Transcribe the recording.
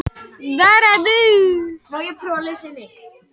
Magðalena, lækkaðu í græjunum.